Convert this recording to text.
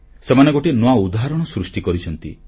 ସେମାନେ ଗୋଟିଏ ନୂଆ ଉଦାହରଣ ସୃଷ୍ଟି କରିଛନ୍ତି